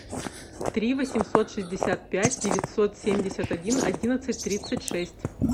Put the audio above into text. три восемьсот шестьдесят пять девятьсот семьдесят один одиннадцать тридцать шесть